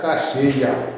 K'a siri